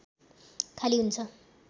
खाली हुन्छ